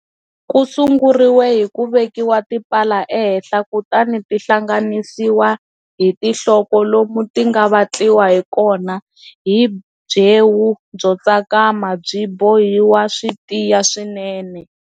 Ku sunguriwa hi ku vekiwa tipala ehenhla kutani ti hlanganisiwa hi tinhloko lomu ti nga vatliwa hi kona hi byewu byo tsakama ti bohiwa swi tiya swinene.